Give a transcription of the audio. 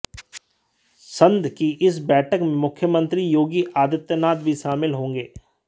संघ की इस बैठक में मुख्यमंत्री योगी आदित्यनाथ भी शामिल होंगे